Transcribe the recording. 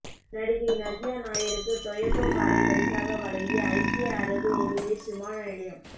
நடிகை நவ்யா நாயருக்கு டொயோட்டா காரை பரிசாக வழங்கிய ஐக்கிய அரபு எமிரேட்ஸ் விமான நிலையம்